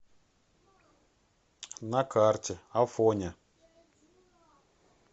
на карте афоня